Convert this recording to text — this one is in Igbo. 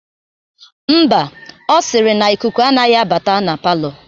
Ḿbà, Ọ sịrị na ikuku anaghị abata na palọ